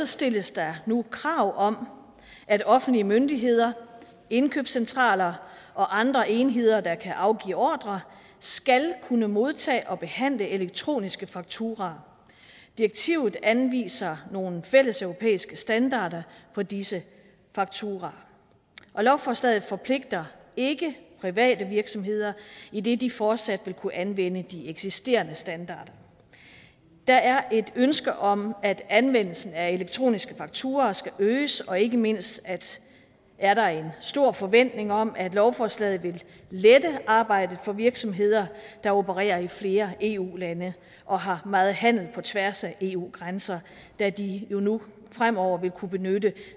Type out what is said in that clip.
stilles der nu krav om at offentlige myndigheder indkøbscentraler og andre enheder der kan afgive ordrer skal kunne modtage og behandle elektroniske fakturaer direktivet anviser nogle fælles europæiske standarder for disse fakturaer lovforslaget forpligter ikke private virksomheder idet de fortsat vil kunne anvende de eksisterende standarder der er et ønske om at anvendelsen af elektroniske fakturaer skal øges og ikke mindst er der en stor forventning om at lovforslaget vil lette arbejdet for virksomheder der opererer i flere eu lande og har meget handel på tværs af eu grænser da de jo nu fremover vil kunne benytte